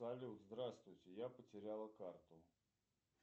салют здравствуйте я потеряла карту